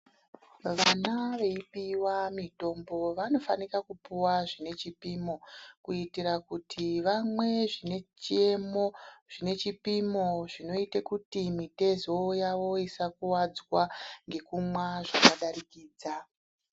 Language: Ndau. Vana veipiwa mitombo vanofanika kupuwa zvine chipimo kuitira kuti vamwe zvine chiemo zvine chipimo zvinoite kuti mitezo yavo isakuwadzwa ngekumwa zvakadarikidza.